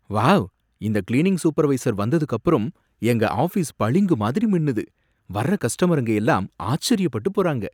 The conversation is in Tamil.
வாவ்! இந்த கிளீனிங் சூப்பர்வைசர் வந்ததுக்கப்புறம் எங்க ஆஃபீஸ் பளிங்கு மாதிரி மின்னுது. வர கஸ்டமருங்க எல்லாம் ஆச்சரியப்பட்டு போறாங்க!